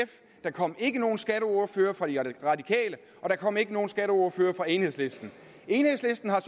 der kom ikke nogen skatteordfører for de radikale og der kom ikke nogen skatteordfører fra enhedslisten enhedslisten har